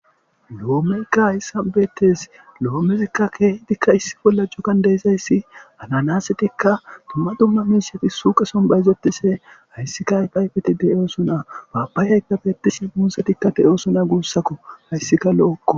Loomeyikka hayssa beettes loomezikka issi bolla cuggan cuggan de'izayssi ananasettikka dumma dumma miishshati suqesson bayzettishe hayssika ayfetti de'ossonna papayikka bettishin muuzettikka de'ossonna guussakko hayssikka lo'okko